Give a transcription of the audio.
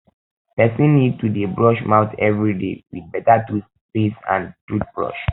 person need to dey brush mouth everyday with better toothpaste and toothbrush